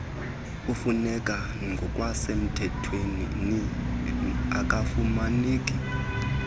ifuneka ngokwasemthethweni akafumaneki